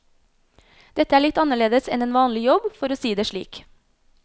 Dette er litt annerledes enn en vanlig jobb, for å si det slik.